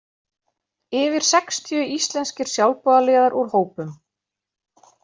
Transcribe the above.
Yfir sextíu íslenskir sjálfboðaliðar úr hópum